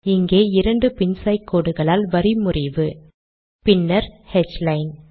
இங்கே இரண்டு பின்சாய் கோடுகளால் வரி முறிவு பின்னர் ஹ்லைன்